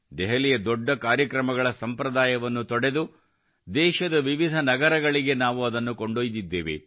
ದೆಹಲಿಯ ದೊಡ್ಡ ಕಾರ್ಯಕ್ರಮಗಳ ಸಂಪ್ರದಾಯವನ್ನು ತೊಡೆದು ದೇಶದ ವಿವಿಧ ನಗರಗಳಿಗೆ ನಾವು ಅದನ್ನು ಕೊಂಡೊಯ್ದಿದ್ದೇವೆ